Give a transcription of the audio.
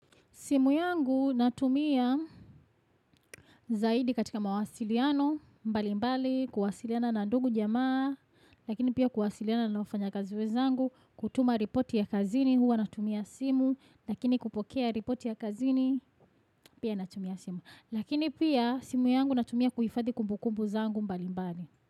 Simu yangu natumia zaidi katika mawasiliano, mbali mbali, kuwasiliana na ndugu jamaa, lakini pia kuwasiliana na wafanyakazi wenzangu, kutuma ripoti ya kazini, huwa natumia simu, lakini kupokea ripoti ya kazini, pia natumia simu. Lakini pia simu yangu natumia kuhifadhi kumbukumbu zangu mbali mbali.